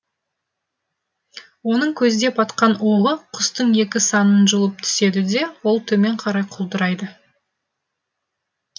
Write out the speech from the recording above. оның көздеп атқан оғы құстың екі санын жұлып түседі де ол төмен қарай құлдырайды